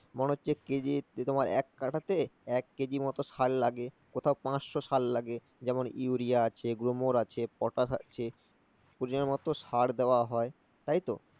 মনে হচ্ছে কেজি তোমার এক কাঠাতে এক কেজি মতো সার লাগে কোথাও পাঁচশ সার লাগে। যেমন ইউরিয়া আছে, ব্রোমর আছে, পটাশ আছে, পরিমাণ মতো সার দেওয়া হয়। তাই তো?